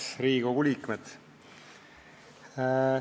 Head Riigikogu liikmed!